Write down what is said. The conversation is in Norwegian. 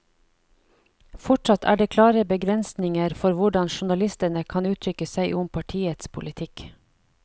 Fortsatt er det klare begrensninger for hvordan journalistene kan uttrykke seg om partiets politikk.